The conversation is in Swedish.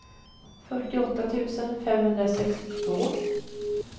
fyrtioåtta tusen femhundrasextiotvå